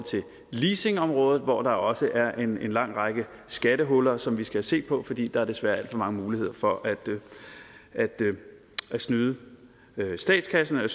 leasingområdet hvor der også er en lang række skattehuller som vi skal have set på fordi der desværre er alt for mange muligheder for at snyde statskassen og